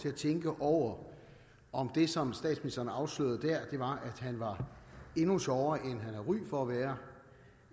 at tænke over om det som statsministeren afslørede der var at han var endnu sjovere end han har ry for at være